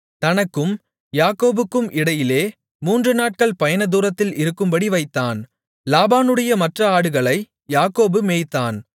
தனக்கும் யாக்கோபுக்கும் இடையிலே மூன்றுநாட்கள் பயணதூரத்தில் இருக்கும்படி வைத்தான் லாபானுடைய மற்ற ஆடுகளை யாக்கோபு மேய்த்தான்